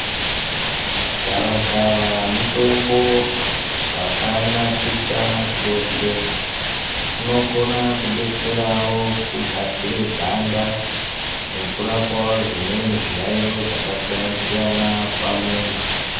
Gavakava mutombo vakanakisa chose. Unokona kudetserawo kugadzire ganda nekurapavo zvimweni zviyaiyo zvakasiyana siyana pamuntu.